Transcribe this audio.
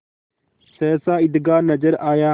सहसा ईदगाह नजर आया